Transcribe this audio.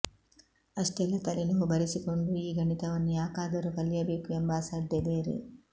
ಅಷ್ಟೆಲ್ಲ ತಲೆನೋವು ಬರಿಸಿಕೊಂಡು ಈ ಗಣಿತವನ್ನು ಯಾಕಾದರೂ ಕಲಿಯಬೇಕು ಎಂಬ ಅಸಡ್ಡೆ ಬೇರೆ